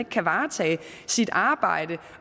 kan varetage sit arbejde